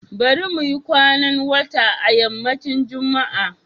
Bari muyi kwanan wata a yammacin Juma'a